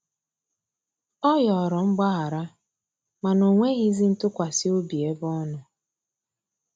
Ọ yọrọ mgbahara mana onwegizi ntụkwasi obi ebe ọnọ.